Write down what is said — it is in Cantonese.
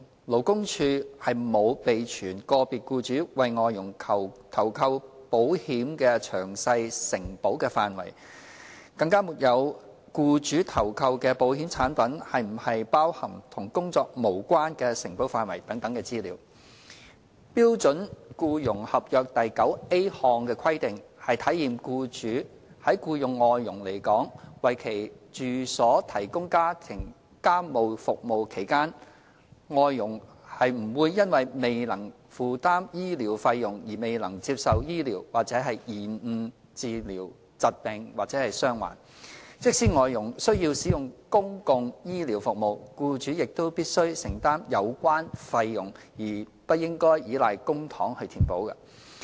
勞工處沒有備存個別僱主為外傭投購保險的詳細承保範圍，更沒有僱主投購的保險產品是否包含與工作無關的承保範圍等資料。標準僱傭合約第 9a 項的規定，是體現僱主在僱用外傭來港為其住所提供家務服務期間，外傭不會因未能負擔醫療費用而未能接受治療或延誤治療疾病或傷患。即使外傭需要使用公共醫療服務，僱主亦必須承擔有關費用而不應依賴公帑填補。